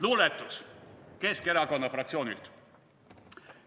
Luuletus Keskerakonna fraktsioonilt.